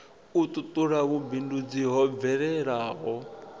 u tutula vhumbindudzi ho bvelaho